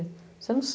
você não